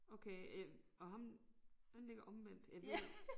Okay øh og ham den ligger omvendt ja det